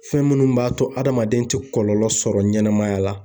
Fɛn minnu b'a to hadamaden tɛ kɔlɔlɔ sɔrɔ ɲɛnɛmaya la.